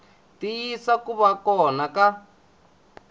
tiyisisa ku va kona ka